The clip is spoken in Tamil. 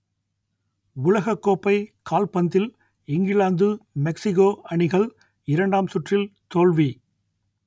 உலகக்கோப்பை கால்பந்தில் இங்கிலாந்து மெக்சிகோ அணிகள் இரண்டாம் சுற்றில் தோல்வி